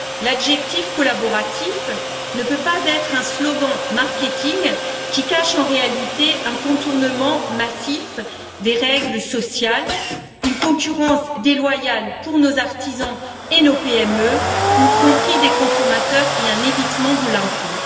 L'adjectif collaboratif ne peut pas être un slogan de marketing qui cache, en réalité, un contournement massif des règles sociales, une concurrence déloyale pour nos artisans et nos PME, une tromperie des consommateurs et un évitement de l'impôt.